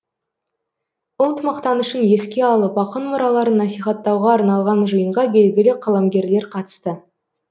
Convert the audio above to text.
ұлт мақтанышын еске алып ақын мұраларын насихаттауға арналған жиынға белгілі қаламгерлер қатысты